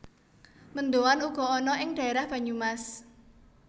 Mendoan uga ana ing dhaerah Banyumas